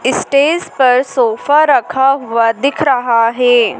Stage पर sofa रखा हुआ दिख रहा है।